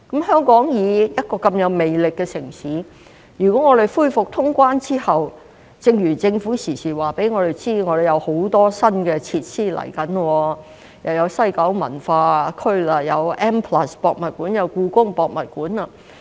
香港作為一個如此有魅力的城市，如果我們恢復通關後......正如政府時時告訴我們，香港將會有很多新設施落成，例如西九文化區、M+、香港故宮文化博物館等。